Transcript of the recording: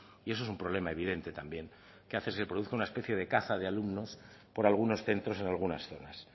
y eso es un problema evidente también que hace se produzca una especie de caza de alumnos por algunos centros en algunas zonas